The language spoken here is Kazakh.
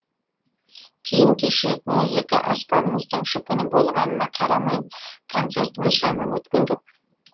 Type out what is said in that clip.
киім кешек музыка аспабымыздың жұпыны болғанына қарамай концертіміз жаман өткен жоқ